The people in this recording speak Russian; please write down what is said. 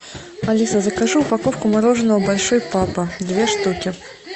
алиса закажи упаковку мороженого большой папа две штуки